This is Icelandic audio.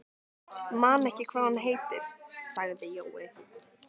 Man ekki hvað hún heitir, sagði Jói.